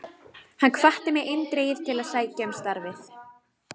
Hann hvatti mig eindregið til að sækja um starfið.